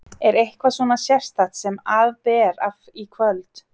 Er eitthvað svona sérstakt sem að ber af í kvöld?